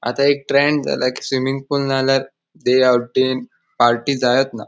आता एक ट्रेंड जाला कि स्विमिंग पूल नाल्यार डे आऊटिंग पार्टी जायत ना.